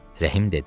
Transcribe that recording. Rəhim dedi: